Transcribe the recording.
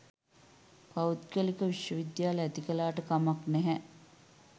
පෞද්ගලික විශ්ව විද්‍යාල ඇති කළාට කමක් නැහැ